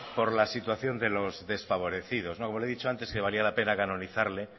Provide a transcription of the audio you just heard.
por la situación de los desfavorecidos no como le he dicho antes que valía la pena canonizarle